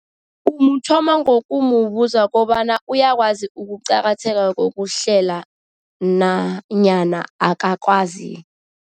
Umuthoma ngokumubuza kobana uyakwazi ukuqakatheka kokuhlela nanyana akakwazi.